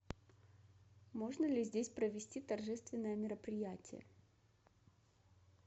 можно ли здесь провести торжественное мероприятие